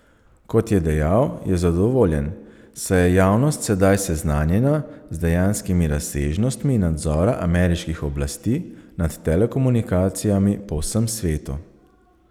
Kot je dejal, je zadovoljen, saj je javnost sedaj seznanjena z dejanskimi razsežnostmi nadzora ameriških oblasti nad telekomunikacijami po vsem svetu.